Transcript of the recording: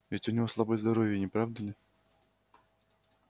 ведь у него слабое здоровье не правда ли